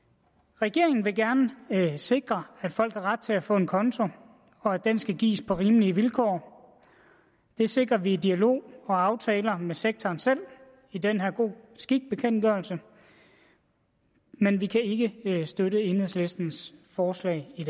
regeringen vil gerne sikre at folk har ret til at få en konto og at den skal gives på rimelige vilkår det sikrer vi i dialog og aftaler med sektoren selv i den her god skik bekendtgørelse men vi kan ikke støtte enhedslistens forslag i